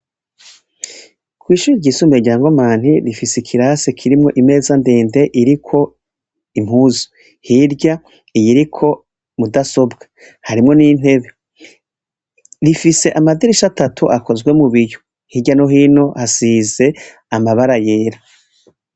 Kwishure ry'isumbuye rya Nkomani rifise ikirasi kirimwo imeza ndende iriko impuzu hirya iyiriko mudasobwa harimwo ni ntebe, rifise amadirisha atatu akozwe mubiyo hirya no hino hasize amabara yera.